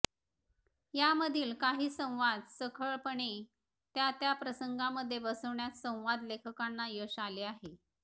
यामधील काही संवाद चखळपणे त्या त्या प्रसंगांमध्ये बसवण्यात संवाद लेखकांना यश आले आहे